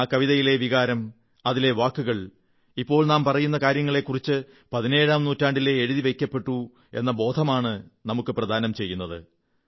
ആ കവിതയിലെ വികാരം അതിലെ വാക്കുകൾ ഇപ്പോൾ നാം പറയുന്ന കാര്യങ്ങളെക്കുറിച്ച് പതിനേഴാം നൂറ്റാണ്ടിലേ എഴുതി വയ്ക്കപ്പെട്ടു എന്ന ഒരു ബോധമാണ് നമുക്കു പ്രദാനം ചെയ്യുന്നത്